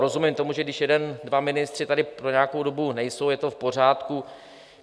Rozumím tomu, že když jeden, dva ministři tady po nějakou dobu nejsou, je to v pořádku.